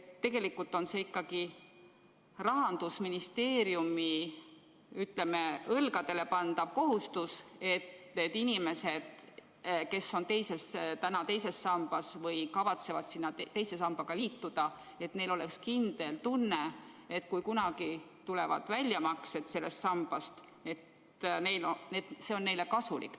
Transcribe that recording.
See on ikkagi Rahandusministeeriumi õlgadel lasuv kohustus, et neil inimestel, kes koguvad II sambasse või kavatsevad II sambaga liituda, oleks kindel tunne, et kui nad kunagi hakkavad sellest sambast saama väljamakseid, siis on see neile kasulik.